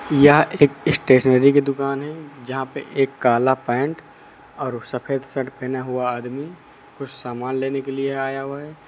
यह एक स्टेशनरी की दुकान है जहां पे एक काला पैंट और सफेद शर्ट पहना हुआ आदमी कुछ समान लेने के लिए आया हुआ है।